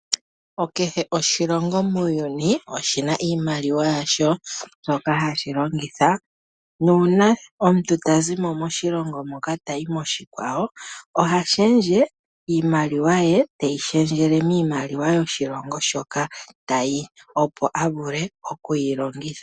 Kehe oshilongo muuyuni oshi na iimaliwa yasho mbyoka hashi longitha nuuna omuntu ta zi mo moshilongo moka tayi moshikwawo oha shendje iimaliwa ye teyi shendjele miimaliwa yoshilongo shoka ta yi, opo a vule okuyi longitha.